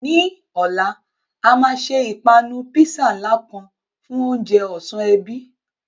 Ní ọ̀la, a máa ṣe ìpanu písà ńlá kan fún oúnjẹ ọ̀sán ẹbí.